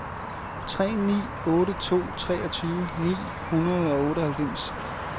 tre ni otte to treogtyve ni hundrede og otteoghalvfems